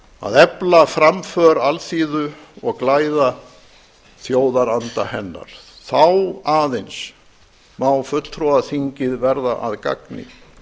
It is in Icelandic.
að efla framför alþýðu og glæða þjóðaranda hennar þá að eins má fulltrúaþíngið verða að gagni